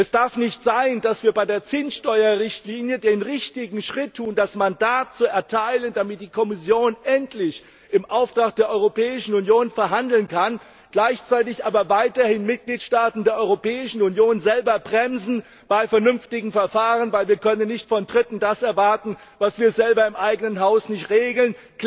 Es darf nicht sein, dass wir bei der Zinssteuerrichtlinie den richtigen Schritt tun, das Mandat zu erteilen, damit die Kommission endlich im Auftrag der Europäischen Union verhandeln kann, gleichzeitig aber weiterhin Mitgliedstaaten der Europäischen Union selber bremsen bei vernünftigen Verfahren. Denn wir können nicht von Dritten das erwarten, was wir selber im eigenen Haus nicht regeln.